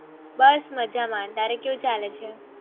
બસ મજા માં તારે કેવું ચાલે છે